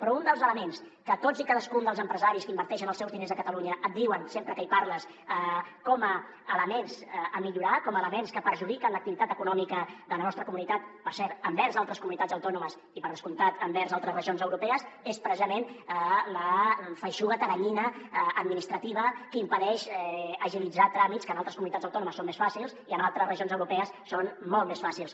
però un dels elements que tots i cadascun dels empresaris que inverteixen els seus diners a catalunya et diuen sempre que hi parles com a element a millorar com a element que perjudica l’activitat econòmica de la nostra comunitat per cert envers altres comunitats autònomes i per descomptat envers altres regions europees és precisament la feixuga teranyina administrativa que impedeix agilitzar tràmits que en altres comunitats autònomes són més fàcils i que en altres regions europees són molt més fàcils